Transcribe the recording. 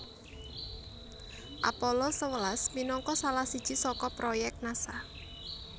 Apollo sewelas minangka salah siji saka proyèk Nasa